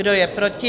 Kdo je proti?